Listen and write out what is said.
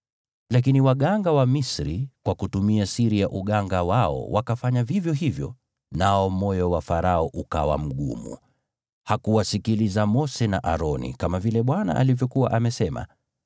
Lakini waganga wa Misri kwa kutumia siri ya uganga wao wakafanya vivyo hivyo, nao moyo wa Farao ukawa mgumu, hakuwasikiliza Mose na Aroni, kama vile Bwana alivyokuwa amesema.